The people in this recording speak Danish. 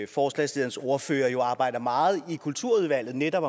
forslagsstillernes ordfører jo arbejder meget i kulturudvalget netop